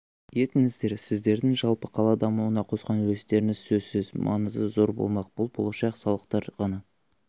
етіңіздер сіздердің жалпы қала дамуына қосқан үлестеріңіз сөзсіз маңызы зор болмақ бұл болашақ салықтар ғана